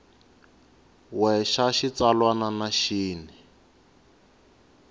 we xa xitsalwana na xin